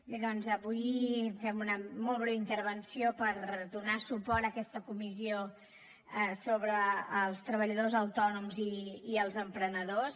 bé doncs avui fem una molt breu intervenció per donar suport a aquesta comissió sobre els treballadors autònoms i els emprenedors